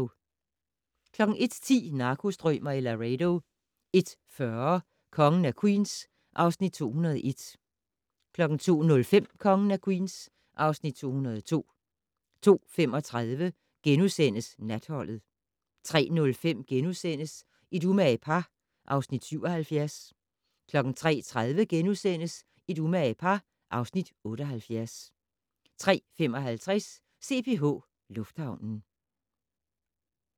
01:10: Narkostrømer i Laredo 01:40: Kongen af Queens (Afs. 201) 02:05: Kongen af Queens (Afs. 202) 02:35: Natholdet * 03:05: Et umage par (Afs. 77)* 03:30: Et umage par (Afs. 78)* 03:55: CPH Lufthavnen